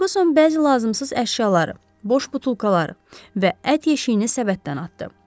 Ferquson bəzi lazımsız əşyaları, boş butulkaları və ət yeşiyini səbətdən atdı.